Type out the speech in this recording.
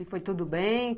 E foi tudo bem?